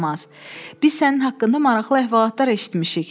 Biz sənin haqqında maraqlı əhvalatlar eşitmişik.